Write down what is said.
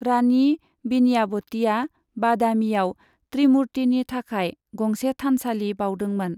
रानि विनयावतीआ बादामीयाव त्रिमुर्तिनि थाखाय गंसे थानसालि बाउदोंमोन।